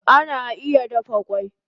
Egg can be boiled